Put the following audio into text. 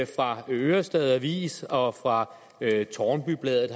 fra ørestad avis og fra tårnby bladet